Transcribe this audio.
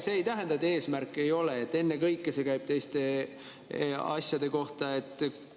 See, et see eesmärk ei ole ja et ennekõike see käib teiste asjade kohta, ei tähenda.